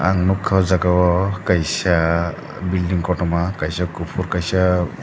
ang nogka o jaga o kaisa bilding kotoma kaisa kopor kaisa.